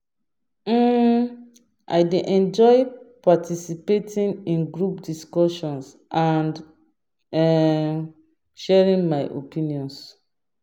um I dey enjoy participating in group discussions and um sharing my opinions.